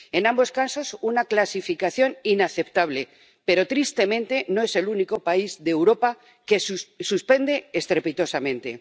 En ambos casos, una clasificación inaceptable, pero tristemente no es el único país de Europa que suspende estrepitosamente.